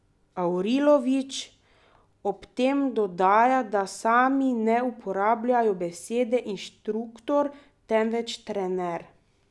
Avrilović ob tem dodaja, da sami ne uporabljajo besede inštruktor, temveč trener.